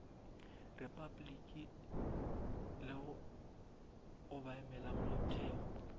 repabliki le go obamela molaotheo